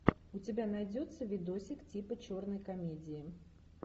у тебя найдется видосик типа черной комедии